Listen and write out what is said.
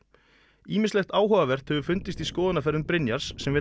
ýmislegt áhugavert hefur fundist í skoðunarferðum Brynjars sem vill að